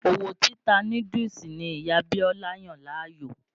Òwò títa núdúùsù ni Ìyá Bíọ́lá yàn láàyò.